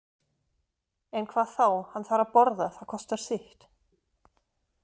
En hvað þá, hann þarf að borða, það kostar sitt.